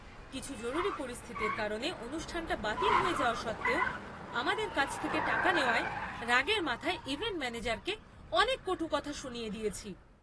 কিছু জরুরি পরিস্থিতির কারণে অনুষ্ঠানটা বাতিল হয়ে যাওয়া সত্ত্বেও আমাদের কাছ থেকে টাকা নেওয়ায় রাগের মাথায় ইভেন্ট ম্যানেজারকে অনেক কটূকথা শুনিয়ে দিয়েছি।